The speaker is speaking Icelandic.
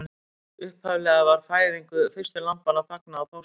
Upphaflega var fæðingu fyrstu lambanna fagnað á páskum.